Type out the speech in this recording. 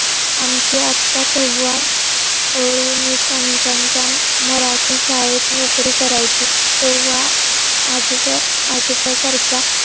आमचे आत्या तेव्हा खांतनच्या मराठी शाळेत नोकरी करायची. तेव्हा आजीबात आजोबा सारख्या.